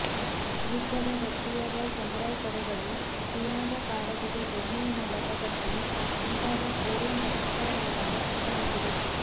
ಯುದ್ಧದ ಗಟ್ಟಿಯಾದ ಸಮುರಾಯ್ ಪಡೆಗಳು ಚೀನಾದ ಕಾಳಜಿಗೆ ಬೆಣ್ಣೆಯ ಮೂಲಕ ಕತ್ತಿ ಮುಂತಾದ ಕೊರಿಯನ್ ರಕ್ಷಕರ ಮೂಲಕ ಕತ್ತರಿಸಿವೆ